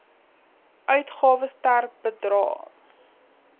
uitgawes ter bedrae